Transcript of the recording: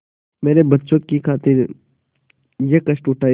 मेरे बच्चों की खातिर यह कष्ट उठायें